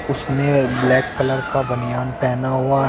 उसने black colour का बनियान पहना हुआ--